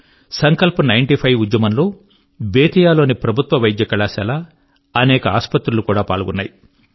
Sankalp ninety five ఈ ఉద్యమంలో బేతియాలోని ప్రభుత్వ వైద్య కళాశాల అనేక ఆసుపత్రులు కూడా పాల్గొన్నాయి